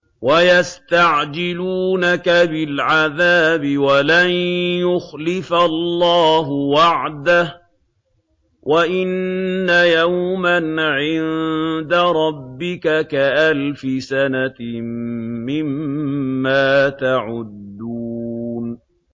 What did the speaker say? وَيَسْتَعْجِلُونَكَ بِالْعَذَابِ وَلَن يُخْلِفَ اللَّهُ وَعْدَهُ ۚ وَإِنَّ يَوْمًا عِندَ رَبِّكَ كَأَلْفِ سَنَةٍ مِّمَّا تَعُدُّونَ